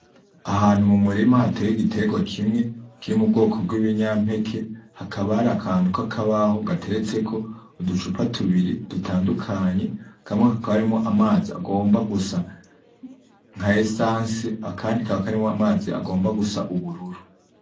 Ahantu mu murima hateye igitegwa kimwe, kiri mu bwoko bwibinyampeke, hakaba harakantu k'akabaho gateretseko uducupa tubiri dutandukanye, kamwe kakaba karimwo amazi agomba gusa nka esanse, akandi kakaba karimwo amazi agomba gusa ubururu.